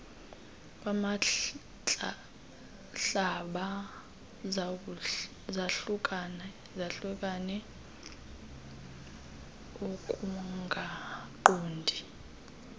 kwantlaba zahlukane ukungaqondani